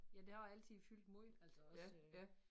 Ja det har altid fyldt måj altså også